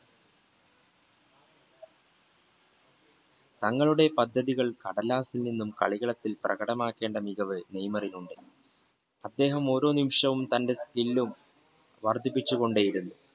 തങ്ങളുടെ പദ്ധതികൾ കടലാസിൽ നിന്നും കളി കളത്തിലേക്ക് പ്രകടമാക്കിയ ആ മികവ് നെയ്മറിന് ഉണ്ട് അദ്ദേഹം ഓരോ നിമിഷവും തന്റെ skill